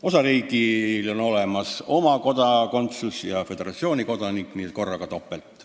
Osariigil on olemas oma kodakondsus ja elanikud on ka föderatsiooni kodanikud, nii et korraga topelt.